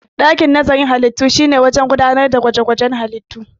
Dakin nazarin halittu shine wurin gudanar da gwaje-gwajen halittu.